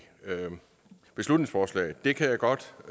beslutningsforslag det kan jeg godt